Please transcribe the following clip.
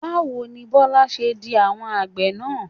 Báwo ni Bọ́lá ṣe kí àwọn àgbẹ̀ náà?